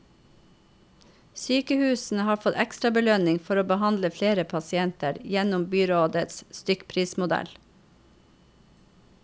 Sykehusene har fått ekstrabelønning for å behandle flere pasienter, gjennom byrådets stykkprismodell.